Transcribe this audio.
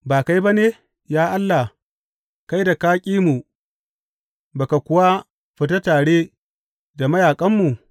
Ba kai ba ne, ya Allah, kai da ka ƙi mu ba ka kuwa fita tare da mayaƙanmu?